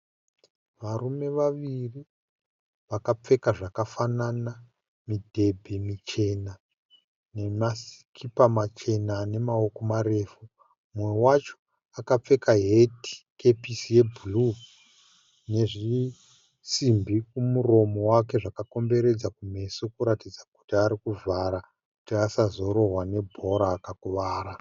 Varume vaviri vakapfeka zvakafanana mudhembe michena nemasikipa machena ane maoko marefu. Mumwe wacho akapfeka heti kapesi yebhuruu nezvisimbi kumuromo wake zvakakomberedza kumeso kuratidza kuti arikuvhara kuti asazorohwa ne bhora akakuvara.